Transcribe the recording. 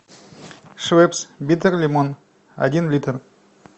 швепс биттер лимон один литр